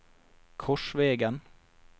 Korsvegen